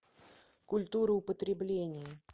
культура употребления